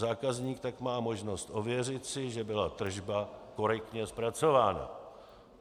Zákazník tak má možnost ověřit si, že byla tržba korektně zpracována.